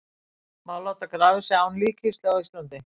Má láta grafa sig án líkkistu á Íslandi?